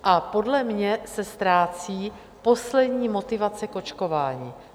A podle mě se ztrácí poslední motivace k očkování.